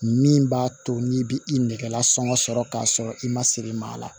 Min b'a to n'i bi i nɛgɛ lasɔngɔ sɔrɔ k'a sɔrɔ i ma se i ma a la